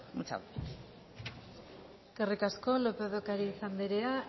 muchas gracias eskerrik asko lópez de ocariz andrea